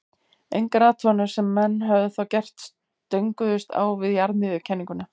engar athuganir sem menn höfðu þá gert stönguðust á við jarðmiðjukenninguna